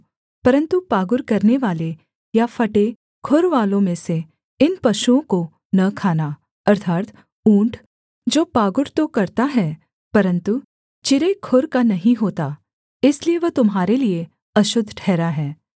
परन्तु पागुर करनेवाले या फटे खुरवालों में से इन पशुओं को न खाना अर्थात् ऊँट जो पागुर तो करता है परन्तु चिरे खुर का नहीं होता इसलिए वह तुम्हारे लिये अशुद्ध ठहरा है